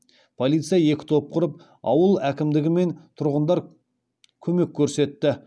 полиция екі топ құрып ауыл әкімдігі мен тұрғындар көмек көрсетті